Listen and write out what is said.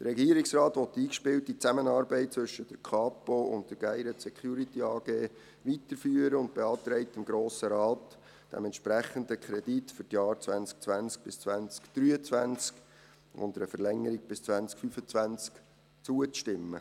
Der Regierungsrat will die eingespielte Zusammenarbeit zwischen der Kapo und der GSD Gayret Security AG weiterführen und beantragt dem Grossen Rat, dem entsprechenden Kredit für die Jahre 2020 bis 2023 und einer Verlängerung bis 2025 zuzustimmen.